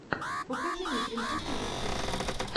покажи мне принцесса зефирка